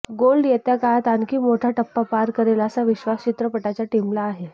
gold येत्या काळात आणखी मोठा टप्पा पार करेल असा विश्वास चित्रपटाच्या टीमला आहे